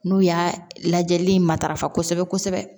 N'u y'a lajɛli in matarafa kosɛbɛ kosɛbɛ